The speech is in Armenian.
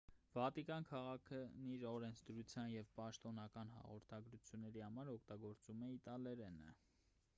վատիկան քաղաքն իր օրենսդրության և պաշտոնական հաղորդագրությունների համար օգտագործում է իտալերենը